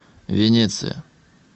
венеция